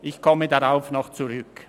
ich werde darauf zurückkommen.